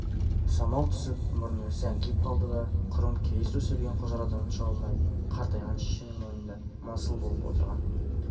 самал түсіп мұрны сәңкиіп қалды да құрым киіз төселген құжырадан шыға алмай қартайған шешенің мойнында масыл болып отырған